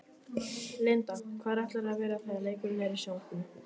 Linda: Hvar ætlarðu að vera þegar leikurinn er í sjónvarpinu?